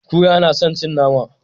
Kura na san cin nama